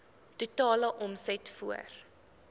totale omset voor